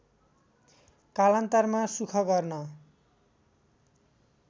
कालान्तरमा सूख गर्न